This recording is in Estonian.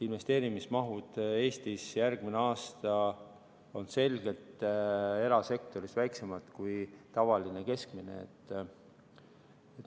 Investeerimismahud on Eestis järgmisel aastal selgelt erasektoris väiksemad kui tavaliselt keskmiselt.